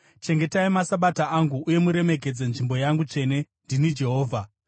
“ ‘Chengetai maSabata angu uye muremekedze nzvimbo yangu tsvene. Ndini Jehovha.